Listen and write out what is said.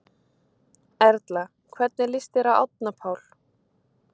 Erla: Hvernig líst þér á Árna Pál?